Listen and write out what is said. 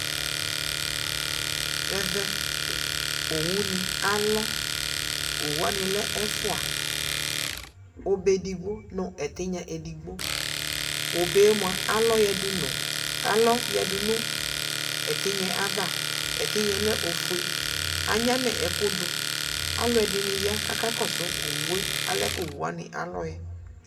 ɛvɛ owuni alɔ owu wane lɛ ɛfoa obe edigbo no etinya edigbo obe moa, alɔ yadu no etinya ava etinyaɛ lɛ ofue anyama ɛkoni du, aloɛdini ya kakɔso owue alɛ ko owu wane alɔɛ